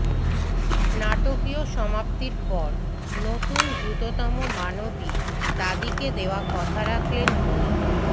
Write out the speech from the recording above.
নাটকীয় সমাপ্তির পর নতুন দ্রুততম মানবী দাদিকে দেওয়া কথা রাখলেন বোয়ি